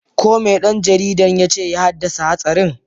Ko me dan jaridar ya ce ya haddasa hatsarin?